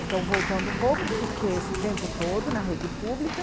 Então, voltando um pouco, fiquei esse tempo todo na rede pública.